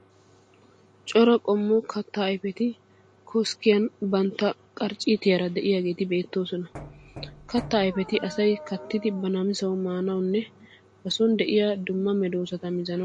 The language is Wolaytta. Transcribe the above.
Cora qommo kattaa ayifeti koskkiyan bantta qarcciitaara de'iyageeti beettoosona. Kattaa ayifeti asayi kattidi ba namisawu maanawunne ba son de'iya dumma medoosata mizanawu maaddees.